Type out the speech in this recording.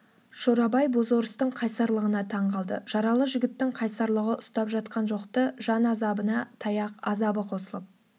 шорабай бозорыстың қайсарлығына таң қалды жаралы жігіттің қайсарлығы ұстап жатқан жоқ-ты жан азабына таяқ азабы қосылып